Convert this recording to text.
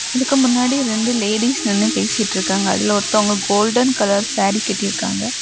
அதுக்கு முன்னாடி ரெண்டு லேடீஸ் நின்னு பேசிட்டிருக்காங்க அதுல ஒருத்தவங்க கோல்டன் கலர் சாரி கட்டிருக்காங்க.